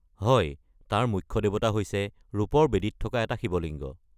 হয়, তাৰ মুখ্য দেৱতা হৈছে ৰূপৰ বেদীত থকা এটা শিৱলিংগ।